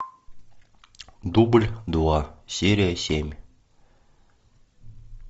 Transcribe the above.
дубль два серия семь